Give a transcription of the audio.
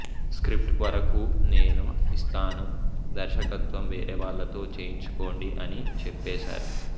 script వరకూ నేను ఇస్తాను దర్శకత్వం వేరేవాళ్ళతో చేయించుకోండి అని చెప్పేశారు